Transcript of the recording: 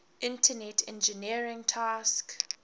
internet engineering task